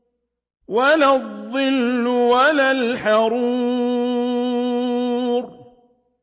وَلَا الظِّلُّ وَلَا الْحَرُورُ